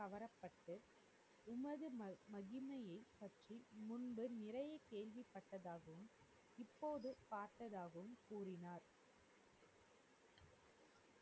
கவரப்பட்டு உமது மகிமையை பற்றி முன்பு நிறைய கேள்விப்பட்டதாகவும் இப்போது பார்த்ததாகவும் கூறினார்.